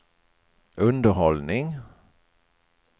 underhållning